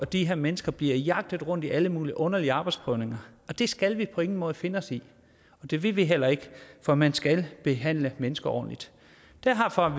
de her mennesker bliver jagtet rundt i alle mulige underlige arbejdsprøvninger og det skal vi på ingen måde finde os i og det vil vi heller ikke for man skal behandle mennesker ordentligt derfor